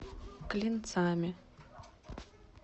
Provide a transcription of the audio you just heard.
клинцами